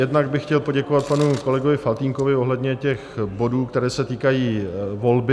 Jednak bych chtěl poděkovat panu kolegovi Faltýnkovi ohledně těch bodů, které se týkají volby.